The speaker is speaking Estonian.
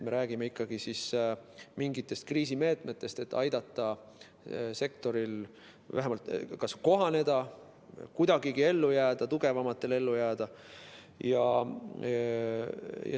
Me räägime ikkagi mingitest kriisimeetmetest, et aidata kas sektoril vähemalt kohaneda ja kuidagigi ellu jääda või tugevamatel ellu jääda.